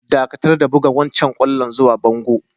Dakatar da bugan wancan kwallon zuwa bangon!